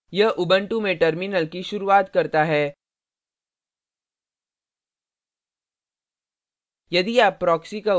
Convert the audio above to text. यह उबंटू में terminal की शुरूआत करता है